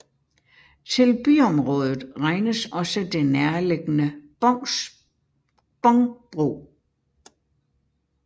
Til byområdet regnes også det nærliggende Bångbro